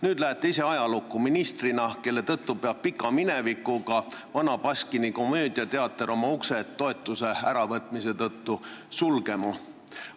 Nüüd lähete ise ajalukku ministrina, kelle tõttu peab pika minevikuga Vana Baskini komöödiateater oma uksed toetuse äravõtmise tõttu sulgema.